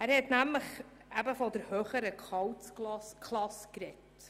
Dieser spricht von den «höheren Gehaltsklassen».